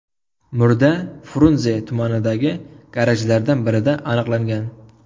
Murda Frunze tumanidagi garajlardan birida aniqlangan.